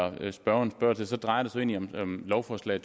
af det spørgeren spørger til så drejer det sig egentlig om lovforslag